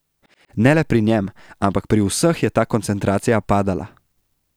Ne le pri njem, ampak pri vseh je ta koncentracija padala.